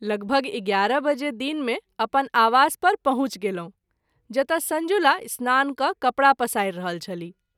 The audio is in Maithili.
लगभग ११ बजे दिन मे अपन आवास पर पहुँच गेलहुँ ,जतय संजुला स्नान क’ कपड़ा पसारि रहल छलीह।